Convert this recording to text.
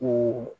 O